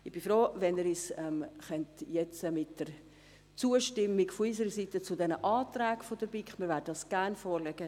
Ich bin froh, wenn Sie diesem Geschäft – mit Zustimmung zu diesen Anträgen der BiK – zustimmen können.